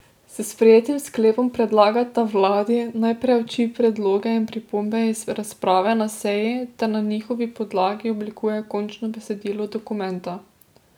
S sprejetim sklepom predlagata vladi, naj preuči predloge in pripombe iz razprave na seji ter na njihovi podlagi oblikuje končno besedilo dokumenta.